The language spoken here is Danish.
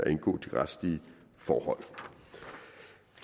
retslige forhold